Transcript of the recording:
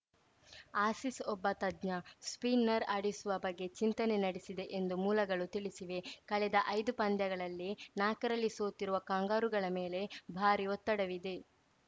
Aussies ಒಬ್ಬ ತಜ್ಞ spinner ಆಡಿಸುವ ಬಗ್ಗೆ ಚಿಂತನೆ ನಡೆಸಿದೆ ಎಂದು ಮೂಲಗಳು ತಿಳಿಸಿವೆ ಕಳೆದ ಐದು ಪಂದ್ಯಗಳಲ್ಲಿ ನಾಕರಲ್ಲಿ ಸೋತಿರುವ ಕಾಂಗರೂಗಳ ಮೇಲೆ ಭಾರೀ ಒತ್ತಡವಿದೆ